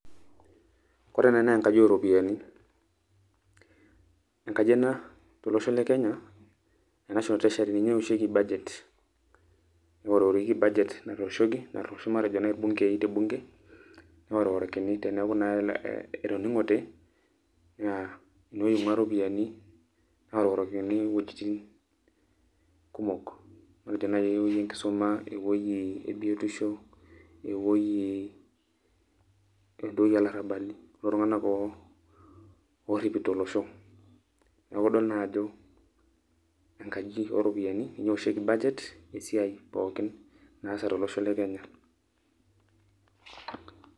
Ore ena naa enkaji oropiyiani. Enkaji ena tolosho le Kenya, e National Treasury ,ninye ewosheki budget. Neworiworiki budget natooshoki, natoosho matejo nai irbunkei tebunke, neworiworikini teneeku etoning'ote, naa enewei ing'ua ropiyaiani naororikini iwuejiting kumok. Matejo nai ewei enkisuma, ewoi ebiotisho, ewoi entoki olarrabali, iltung'anak o orripito olosho. Neeku idol naa ajo, enkaij oropiyiani, ninye ewoshieki budget ,esiai pookin naasa tolosho le Kenya.